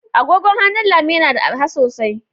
Agogon hannu Lami yana da arha sosai.